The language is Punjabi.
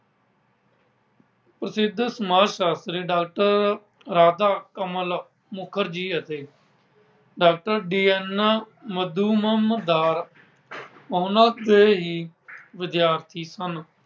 ਪ੍ਰਸਿੱਧ ਸਮਾਜ ਸ਼ਾਸਤਰੀ doctor Radha Kamal Mukerjee ਅਤੇ doctor D. N Majumdar ਉਨ੍ਹਾਂ ਦੇ ਹੀ ਵਿਦਿਆਰਥੀ ਸਨ।